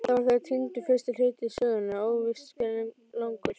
Þá var þegar týndur fyrsti hluti sögunnar, óvíst hve langur.